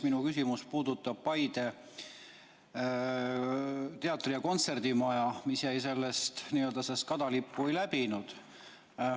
Minu küsimus puudutab Paide teatri‑ ja kontserdimaja, mis jäi välja ja seda kadalippu ei läbinud.